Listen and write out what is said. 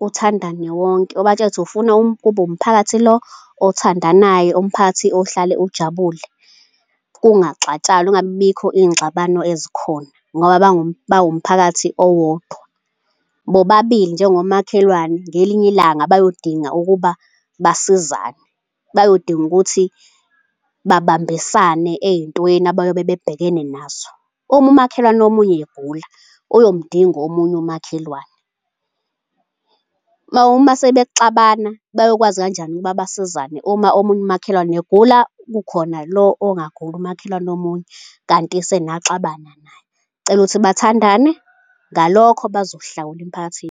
uthandane wonke, ubatshele ukuthi ufuna kube umphakathi lo othandanayo, umphakathi ohlale ujabule, kungaxatshanwa, kungabibikho iy'ngxabano ezikhona ngoba bawumphakathi owodwa. Bobabili njengomakhelwane ngelinye ilanga bayodinga ukuba basizane, bayodinga ukuthi babambisane ey'ntweni abayobe bebhekene nazo. Uma umakhelwane omunye egula, uyomdinga omunye umakhelwane. Uma sebexabana bayokwazi kanjani ukuba basizane uma omunye umakhelwane egula kukhona lo ongaguli umakhelwane omunye kanti senaxabana naye? Cela ukuthi bathandane ngalokho bazohlawula emphakathini.